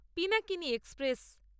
Pinakini express